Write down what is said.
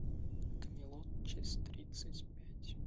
камелот часть тридцать пять